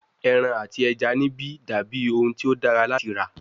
Eran ati ẹja nibi dabi ohun ti o dara lati ra